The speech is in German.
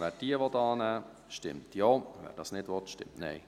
Wer diese annehmen will, stimmt Ja, wer dies nicht will, stimmt Nein.